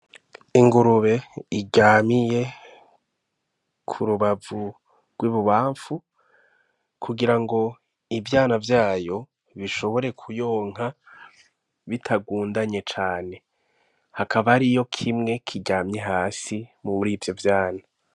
Ingurube iryamiye ku rubavu rw'ibubamfu kugira ngo ivyana vyayo bishobore kuyonka bitagundanye cane hakaba ari yo kimwe kiryamye hasi mu buri vyo vyana.